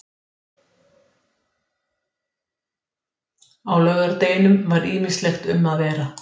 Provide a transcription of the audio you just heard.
Þrír milljarðar til skuldara